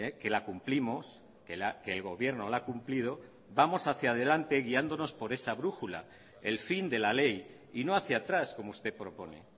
que la cumplimos que el gobierno la ha cumplido vamos hacia delante guiándonos por esa brújula el fin de la ley y no hacia atrás como usted propone